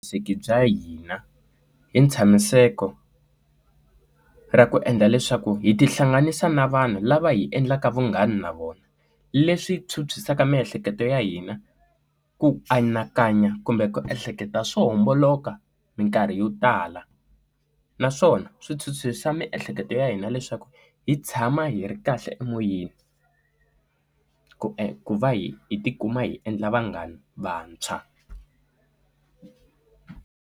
Vuhlayiseki bya hina hi ntshamiseko ra ku endla leswaku hi tihlanganisa na vanhu lava hi endlaka vunghana na vona leswi phyuphyisa miehleketo ya hina ku anakanya kumbe ku ehleketa swo homboloka minkarhi yo tala naswona swithuthuthu xa miehleketo ya hina leswaku hi tshama hi ri kahle emoyeni ku ku va hi hi tikuma hi endla vanghana vantshwa.